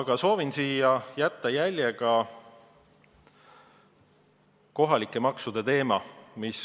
Mina soovin siia jätta jälje, rääkides kohalikest maksudest.